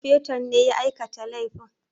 Sufeton ne ya aikata laifin